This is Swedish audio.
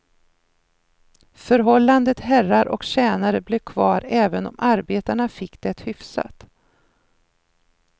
Förhållandet herrar och tjänare blev kvar även om arbetarna fick det hyfsat.